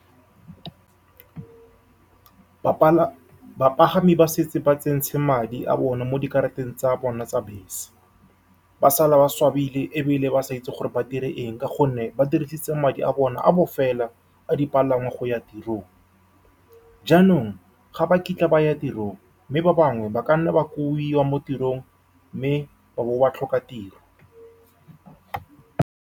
Bapagami ba setse ba tsentse madi a bone mo dikarata tsa bona tsa bese. Ba sala ba swabileng ebile ba sa itse gore ba dire eng, ka gonne ba dirisitse madi a bona a bofelo a dipalangwa go ya tirong, jaanong ga ba kitla ba ya tirong, mme ba bangwe ba ka nna ba kobiwa mo tirong, mme ba bo ba tlhoka tiro.